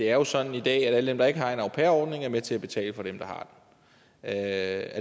er sådan i dag at alle dem der ikke har en au pair ordning er med til at betale for dem der har er